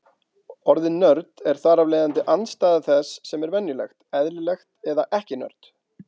Orðið nörd er þar af leiðandi andstæða þess sem er venjulegt, eðlilegt, eða ekki-nörd.